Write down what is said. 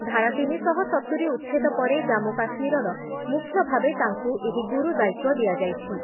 ଧାରା ତିନି ଶହ ସତୁରି ଉଚ୍ଛେଦ ପରେ ଜାମ୍ମୁ କାଶ୍ମୀରର ମୁଖ୍ୟ ଭାବେ ତାଙ୍କୁ ଏହି ଗୁରୁ ଦାୟିତ୍ଵ ଦିଆଯାଇଛି ।